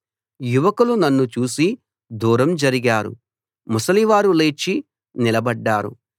యువకులు నన్ను చూసి దూరం జరిగారు ముసలివారు లేచి నిలబడ్డారు